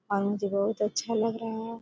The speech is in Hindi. हाँ मुझे बहुत अच्छा लग रहा है।